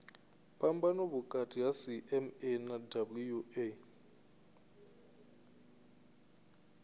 phambano vhukati ha cma na wua